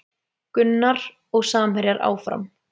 Gunnar og samherjar áfram